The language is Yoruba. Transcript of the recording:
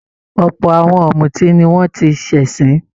Ọ̀pọ̀ àwọn ọ̀mútí ni wọ́n ti ṣẹ̀sín.